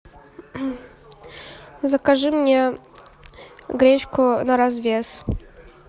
закажи мне гречку на развес